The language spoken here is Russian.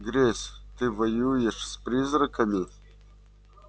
грейс ты воюешь с призраками